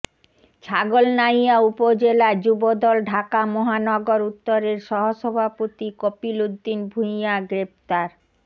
ছাগলনাইয়া উপজেলায় যুবদল ঢাকা মহানগর উত্তরের সহসভাপতি কপিল উদ্দিন ভুঁইয়া গ্রেফতার